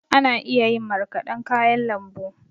Ana iya yin marƙadan kayan lambu.